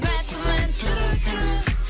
бәк күмән түрлі түрлі